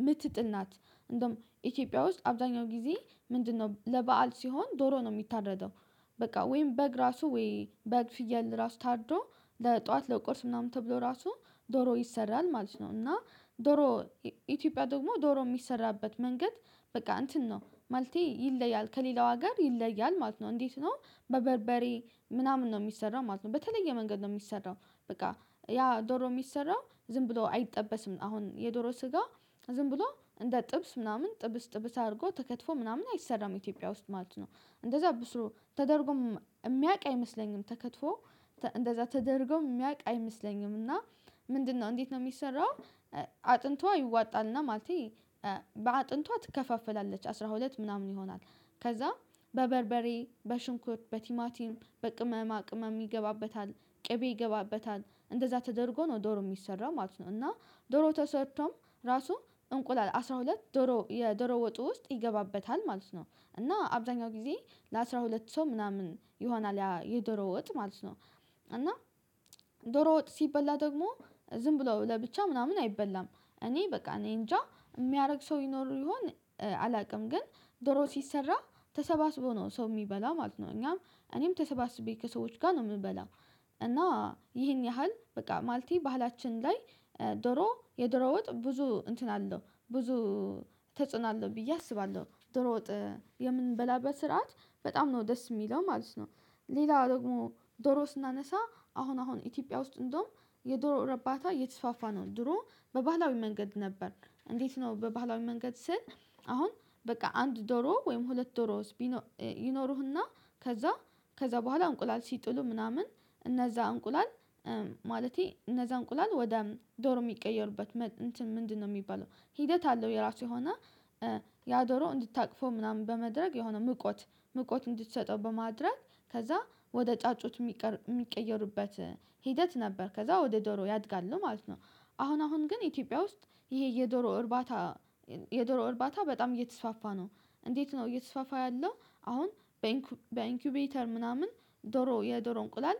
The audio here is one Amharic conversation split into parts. የምትጥል ናት። እንደውም ኢትዮጵያ ውስጥ አብዛኛው ጊዜ ምንድነው ለበአል ሲሆን ዶሮ ነው የሚታረደው። በቃ ወይም በግ ራሱ ወይ በግ ፍየል ራሱ ታርዶ ለጠዋት ለቁርስ ምናምን ተብሎ ራሱ ዶሮ ይሰራል ማለት ነው። እና ዶሮ ኢትዮጵያ ደግሞ ዶሮ የሚሰራበት መንገድ በቃ እንትን ነው ማለቴ ይለያል ከሌላው ጋር ይለያል ማለት ነው። እንዴት ነው? በበርበሬ ምናምን ነው የሚሰራው ማለት ነው በተለየ መንገድ ነው የሚሰራው። በቃ ያ ዶሮ የሚሰራው ዝም ብሎ አይጠበስም አሁን የዶሮ ስጋ ዝም ብሎ እንደ ጥብስ ምናምን ጥብስ ጥብስ አድርጎ ተከትፎ ምናምን አይሰራም ኢትዮጵያ ውስጥ ማለት ነው። እንደዛ ብሶ ተደርጎም የሚያውቅ አይመስለኝም ተከትፎ እንደዛ ተደርጎም የሚያውቅ አይመስለኝም። እና ምንድነው እንዴት ነው የሚሰራው? አጥንቷ ይዋጣልና ማለቴ በአጥንቷ ትከፋፈላለች አስራ ሁለት ምናምን ይሆናል። ከዛ በበርበሬ በሽንኩር በቲማቲም በቅመማ ቅመም ይገባበታል ቅቤ ይገባበታል እንደዛ ተደርጎ ነው ዶሮ የሚሰራው ማለት ነው። እና ዶሮ ተሰርቶም ራሱ እንቁላል አስራ ሁለት ዶሮ የዶሮ ወጡ ውስጥ ይገባበታል ማለት ነው። እና አብዛኛው ጊዜ ለአስራ ሁለትሰው ምናምን ይሆናል የደሮ ወጥ ማለት ነው። እና ደሮ ወጥ ሲበላ ደግሞ ዝም ብሎ ለብቻ ምናምን አይበላም እኔ በቃ እኔ እንጃ የሚያደርግ ሰው ይኖሩ ይሆን? አላውቅም ግን ዶሮ ሲሰራ ተሰባስቦ ነው ሰው የሚበላ ማለት ነው። እኛም እኔም ተሰባስቤ ከሰዎች ጋር ነው የምንበላው። እና ይህን ያህል በቃ ማለቴ ባህላችን ላይ ዶሮ የዶሮ ወጥ ብዙ እንትን አለው ብዙ ተጽዕና አለው ብዬ አስባለሁ ዶሮ ወጥ የምንበላበት ስርዓት በጣም ደስ የሚለው ማለት ነው። ሌላ ደግሞ ዶሮ ስናነሳ አሁን አሁን ኢትዮጵያ ውስጥ እንደውም የዶሮ እርባታ እየተስፋፋ ነው። ድሮ በባህላዊ መንገድ ነበር እንዴት ነው በባህላዊ መንገድ ስል? አሁን በቃ አንድ ዶሮ ወይም ሁለት ዶሮ። ይኖሩህና ከዛ ከዛ በኋላ እንቁላል ሲጥሉ ምናምን እነዛ እንቁላል ማለቴ እነዛ እንቁላል ወደ ዶሮ የሚቀየሩበት። ምንድነው የሚባለው ሂደት አለው የራሱ የሆነ። ያዶሮ እንድታቅፎ ምናምን በመድረግ የሆነ ምቆት ምቆት እንድትሰጠው በማድረግ ከዛ ወደ ጫጩት የሚቀየሩበት ሂደት ነበር ከዛ ወደ ዶሮ ያድጋል ነው ማለት ነው። አሁን አሁን ግን ኢትዮጵያ ውስጥ ይሄ የዶሮ እርባታ የዶሮ እርባታ በጣም እየተስፋፋ ነው። እንዴት ነው እየተስፋፋ ያለው? አሁን በኢንኩቤተር ምናምን ዶሮ የዶሮ እንቁላል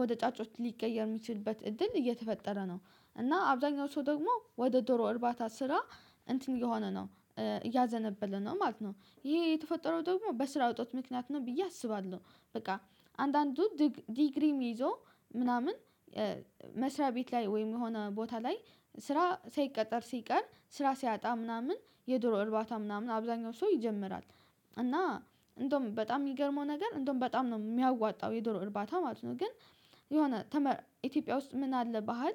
ወደ ጫጮች ሊቀየር የሚችልበት እድል እየተፈጠረ ነው። እና አብዛኛው ሰው ደግሞ ወደ ዶሮ እርባታ ስራ እንትን የሆነ ነው እያዘነበለ ነው ማለት ነው። ይሄ የተፈጠረው ደግሞ በስራ እጦት ምክንያት ነው ብዬ አስባለሁ። በቃ አንዳንዱ ዲግሪም ይዞ ምናምን መስሪያ ቤት ላይ ወይም የሆነ ቦታ ላይ ስራ ሳይቀጠር ሲቀር ስራ ሲያጣ ምናምን የዶሮ እርባታ ምናምን አብዛኛው ሰው ይጀምራል። እና እንደውም በጣም የሚገርመው ነገር እንደውም በጣም ነው የሚያዋጣው የዶሮ እርባታ ማለት ነው። ግን የሆነ ኢትዮጵያ ውስጥ ምን አለ ባህል?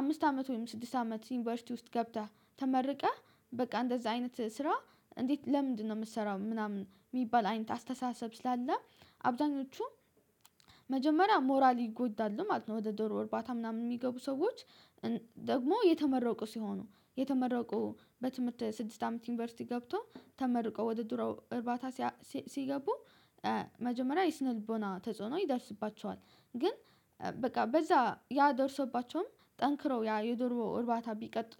አምስት አመት ወይም ስድስት አመት ዩኒቨርሲቲ ውስጥ ገብተህ ተመርቀህ በቃ እንደዛ አይነት ስራ እንዴት ለምንድነው የምትሰራው ምናምን የሚባል አይነት አስተሳሰብ ስላለ። አብዛኞቹ መጀመሪያ ሞራል ይጎዳሉ ማለት ነው። ወደ ዶሮ እርባታ ምናምን የሚገቡ ሰዎች ደግሞ የተመረቁ ሲሆኑ የተመረቁ በትምህርት ስድስት አመት ዩኒቨርሲቲ ገብቶ ተመርቆ ወደ ዶሮ እርባታ ሲገቡ መጀመሪያ የስነ ልቦና ተጽዕኖ ይደርስባቸዋል። ግን በቃ በዛ ያ ደርሶባቸውም ጠንክረው ያ የድሮ እርባታ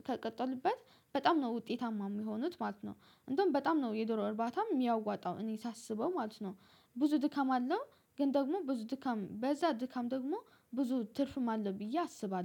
ተቀጥልበት በጣም ነው ውጤታማ የሚሆኑት ማለት ነው። እንደውም በጣም ነው የዶሮ እርባታም የሚያዋጣው እኔ ሳስበው ማለት ነው። ብዙ ድካም አለው ግን ደግሞ ብዙ ድካም በዛ ድካም ደግሞ ብዙ ትርፍም አለ ብዬ አስባለሁ